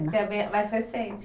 mais recente.